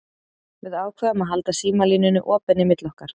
Við ákváðum að halda símalínunni opinni milli okkar.